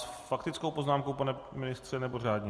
S faktickou poznámkou, pane ministře, nebo řádně?